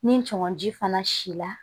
Ni cɔgɔn ji fana sila